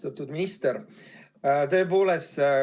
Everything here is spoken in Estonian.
Austatud minister!